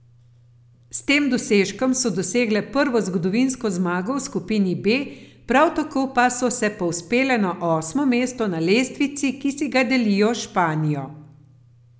S tem dosežkom so dosegle prvo, zgodovinsko zmago v skupini B, prav tako pa so se povzpele na osmo mesto na lestvici, ki si ga delijo s Španijo.